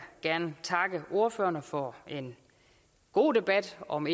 gerne takke ordførerne for en god debat om